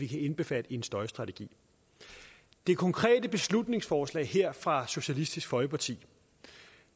kan indbefattes i støjstrategien det konkrete beslutningsforslag her fra socialistisk folkeparti